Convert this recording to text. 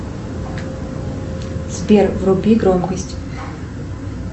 сбер вруби громкость